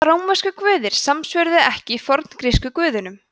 hvaða rómversku guðir samsvöruðu ekki forngrísku guðunum